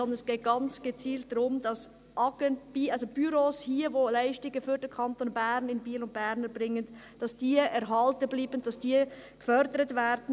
Es geht hingegen ganz gezielt darum, dass Büros, die hier Leistungen für den Kanton Bern in Biel und Bern erbringen, erhalten bleiben, dass sie gefördert werden.